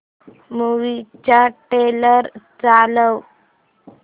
movie चा trailer चालव